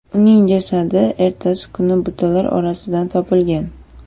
Uning jasadi ertasi kuni butalar orasidan topilgan.